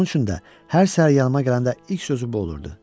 Bunun üçün də hər səhər yanıma gələndə ilk sözü bu olurdu: